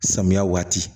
Samiya waati